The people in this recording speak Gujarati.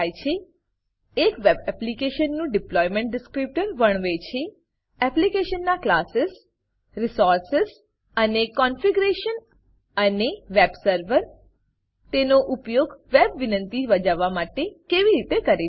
એક વેબ એપ્લિકેશન વેબ એપ્લીકેશન નું ડિપ્લોયમેન્ટ ડિસ્ક્રિપ્ટર ડીપ્લોયમેંટ ડીસક્રીપ્ટર વર્ણવે છે એપ્લીકેશનનાં ક્લાસીસ ક્લાસો રિસોર્સિસ સ્ત્રોતો અને કોન્ફિગરેશન કોન્ફિગરેશન અને વેબ સર્વર વેબ સર્વર તેનો ઉપયોગ વેબ વિનંતિ બજાવવા માટે કેવી રીતે કરે છે